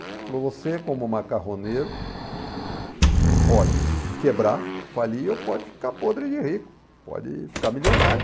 Ele falou, você como macarroneiro pode quebrar, falir ou pode ficar podre de rico, pode ficar milionário.